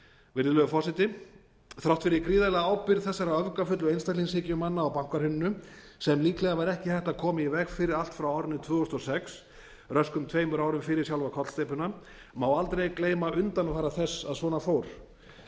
virðulegur forseti þrátt fyrir gríðarlega ábyrgð þessara öfgafullu einstaklingshyggjumanna á bankahruninu sem líklega var ekki hægt að koma í veg fyrir allt frá árinu tvö þúsund og sex röskum tveimur árum fyrir sjálfa kollsteypuna má aldrei gleyma undanfara þess að svona fór